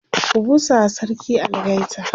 ku busawa sarki algaita!